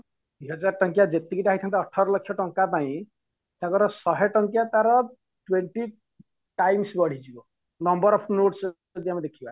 ଦିହଜାର ଟଙ୍କିଆ ଯେତିକି ଟା ହେଇଥାନ୍ତା ଅଠର ଲକ୍ଷ ଟଙ୍କା ପାଇଁ ତାଙ୍କର ଶହେ ଟଙ୍କିଆ ତାର twenty times ବଢ଼ିଯିବ number of notes ଯଦି ଆମେ ଦେଖିବା